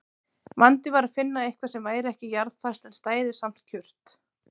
Vandinn var að finna eitthvað sem væri ekki jarðfast en stæði samt kjurt.